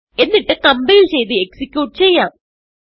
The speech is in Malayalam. എന്നിട്ട് കംപൈൽ ചെയ്ത് എക്സിക്യൂട്ട് ചെയ്യാം